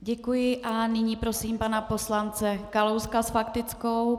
Děkuji a nyní prosím pana poslance Kalouska s faktickou.